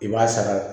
I b'a sara